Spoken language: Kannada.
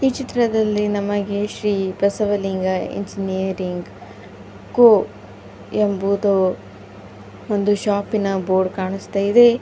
ಚಿತ್ರದಲ್ಲಿ ನಮಗೆ ಶ್ರೀ ಬಸವಲಿಂಗ ಇಂಜಿನಿಯರಿಂಗ್ ಕೋ ಎಂಬುದು ಒಂದು ಶಾಪಿನ ಬೋರ್ಡ್ ಕಾಣಿಸ್ತಾ ಇದೆ.